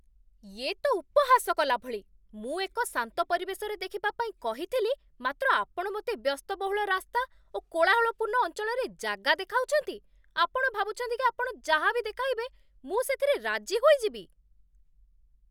ୟେ' ତ ଉପହାସ କଲାଭଳି। ମୁଁ ଏକ ଶାନ୍ତ ପରିବେଶରେ ଦେଖିବା ପାଇଁ କହିଥିଲି, ମାତ୍ର ଆପଣ ମୋତେ ବ୍ୟସ୍ତବହୁଳ ରାସ୍ତା ଓ କୋଳାହଳପୂର୍ଣ୍ଣ ଅଞ୍ଚଳରେ ଜାଗା ଦେଖାଉଛନ୍ତି। ଆପଣ ଭାବୁଛନ୍ତି କି ଆପଣ ଯାହା ବି ଦେଖାଇବେ ମୁଁ ସେଥିରେ ରାଜି ହୋଇଯିବି?